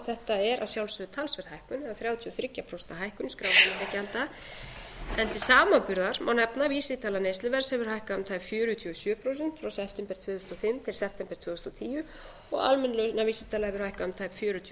þetta er að sjálfsögðu talsverð hækkun eða þrjátíu og þrjú ja prósenta hækkun skrásetningargjalda en til samanburðar má nefna að vísitala neysluverðs hefur hækkað um tæp fjörutíu og sjö prósent frá september tvö þúsund og fimm til september tvö þúsund og tíu og almenn launavísitala hefur hækkað um tæp fjörutíu